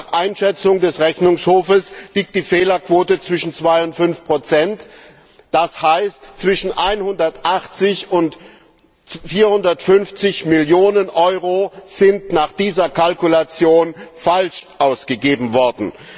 Nach Einschätzung des Rechnungshofs liegt die Fehlerquote zwischen 2 und 5 das heißt, zwischen 180 und 450 Mio. EUR sind nach dieser Kalkulation falsch ausgegeben worden.